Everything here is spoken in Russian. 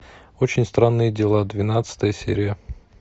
очень странные дела двенадцатая серия